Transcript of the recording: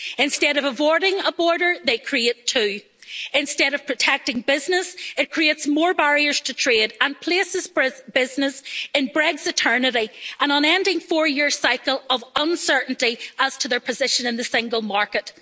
Instead of avoiding a border, they create two. Instead of protecting business, it creates more barriers to trade and places business in Brex eternity' an unending four-year cycle of uncertainty as to their position in the single market.